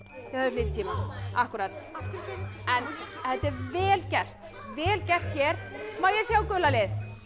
þið höfðuð lítinn tíma en þetta er vel gert vel gert hér má ég sjá gula lið